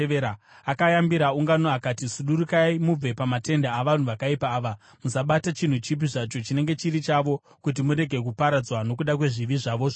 Akayambira ungano akati, “Sudurukai mubve pamatende avanhu vakaipa ava! Musabata chinhu chipi zvacho chinenge chiri chavo, kuti murege kuparadzwa nokuda kwezvivi zvavo zvose.”